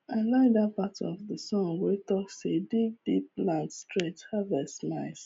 i like dat part of the song wey talk say dig deep plant straight harvest smiles